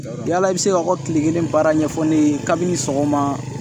Yala i bɛ se ka o tile kelen baara ɲɛfɔ ne ye kabini sɔgɔma